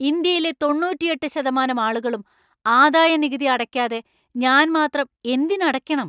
ഇന്ത്യയിലെ തൊണ്ണൂറ്റിയെട്ട് ശതമാനം ആളുകളും ആദായനികുതി അടയ്‌ക്കാതെ ഞാൻ മാത്രം എന്തിന് അടയ്‌ക്കണം?